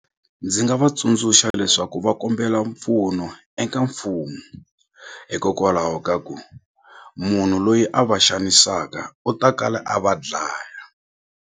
Ndzi nga va tsundzuxa leswaku va kombela mpfuno eka mfumo hikokwalaho ka ku munhu loyi a va xanisaka u ta kala a va dlaya.